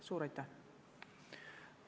Suur aitäh!